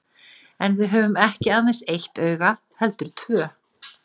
En við höfum ekki aðeins eitt auga heldur tvö.